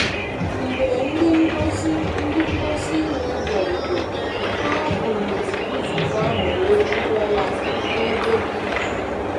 Mgbe ndị ngosi ndị ngosi iwe bịarutere, ha bụrụ nzukọ ahụ wee buga ya n'ebe dị jụụ.